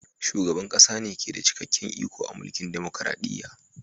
Shugaban ƙasa ne ke da cikakken iko a mulkin dumukuradiyya.